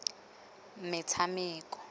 metshameko